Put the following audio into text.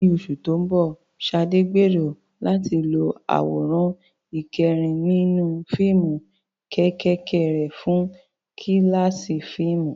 Ní oṣù tó ń bọ̀, Sade gbèrò láti lo àwòrán ìkẹ́rẹ́nì nínú fíìmù kéékèèké rẹ̀ fún kíláàsì fíìmù.